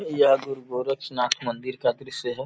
यह गुरु गोरक्षनाथ मंदिर का दृश्य है।